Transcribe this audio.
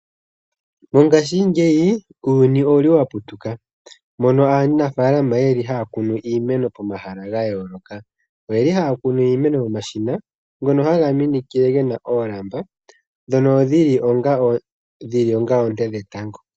Mongashingeyi uuyuni owa putuka moka aanafaalama haya kunu iimeno pomahala ga yooloka. Ohaya kunu iimeno momashina ngoka haga minikile ge na oolamba ndhono dhi li onga oonte dhetango.